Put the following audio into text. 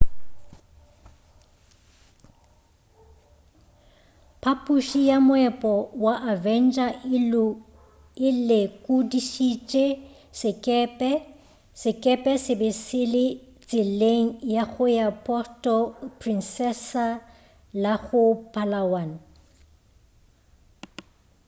phaphuši ya moepo wa avenger e lekodišišitše sekepe sekepe se be se le tseleng ya go ya puerto princesa go la palawan